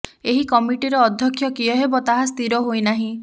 ଏହି କମିଟିର ଅଧ୍ୟକ୍ଷ କିଏ ହେବେ ତାହା ସ୍ଥିର ହୋଇନାହିଁ